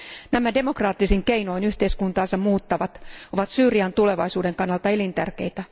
Nämä demokraattisin keinoin yhteiskuntaansa muuttavat ovat Syyrian tulevaisuuden kannalta elintärkeitä.